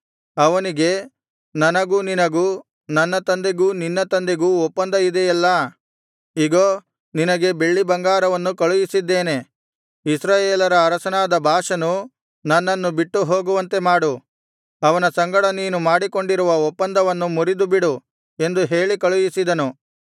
ಅವನಿಗೆ ನನಗೂ ನಿನಗೂ ನನ್ನ ತಂದೆಗೂ ನಿನ್ನ ತಂದೆಗೂ ಒಪ್ಪಂದ ಇದೆಯಲ್ಲಾ ಇಗೋ ನಿನಗೆ ಬೆಳ್ಳಿಬಂಗಾರವನ್ನು ಕಳುಹಿಸಿದ್ದೇನೆ ಇಸ್ರಾಯೇಲರ ಅರಸನಾದ ಬಾಷನು ನನ್ನನ್ನು ಬಿಟ್ಟು ಹೋಗುವಂತೆ ಮಾಡು ಅವನ ಸಂಗಡ ನೀನು ಮಾಡಿಕೊಂಡಿರುವ ಒಪ್ಪಂದವನ್ನು ಮುರಿದುಬಿಡು ಎಂದು ಹೇಳಿ ಕಳುಹಿಸಿದನು